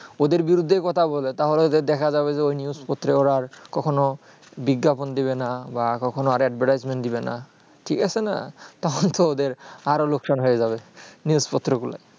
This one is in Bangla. ওদের বিরুদ্ধে কথা বলে তাহলে দেখা যাবে যে ওই news পত্রে ওড়া আর কখনো বিজ্ঞাপন দিবে না কখনো আর advertisment দিবে না ঠিক আছে না তখন তো ওদের আরও লোকসান হয়ে যাবে news পত্র গুলো